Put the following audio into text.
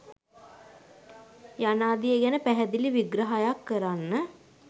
යනාදිය ගැන පැහැදිලි විග්‍රහයක් කරන්න.